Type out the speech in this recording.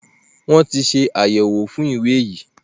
Wọn ti ṣe àyẹwò fún ìwé yí.